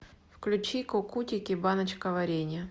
включи кукутики баночка варенья